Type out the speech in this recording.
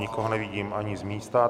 Nikoho nevidím ani z místa.